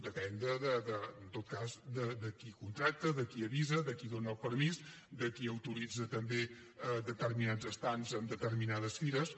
depèn en tot cas de qui contracta de qui avisa de qui dóna el permís de qui autoritza també determinats estands en determinades fires